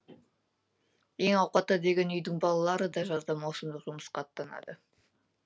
ең ауқатты деген үйдің балалары да жазда маусымдық жұмысқа аттанады